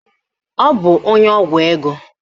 Ọ bụ onye ọgwụ ego?